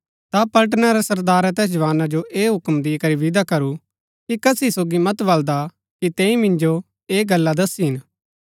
ता पलटना रै सरदारै तैस जवाना जो ऐह हूक्म दिकरी विदा करू कि कसी सोगी मत बलदा कि तैंई मिन्जो ऐह गल्ला दस्सी हिन